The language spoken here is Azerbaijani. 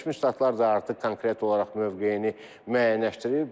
Birləşmiş Ştatlar da artıq konkret olaraq mövqeyini müəyyənləşdirib.